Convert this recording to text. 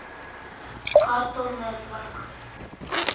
картун нертворк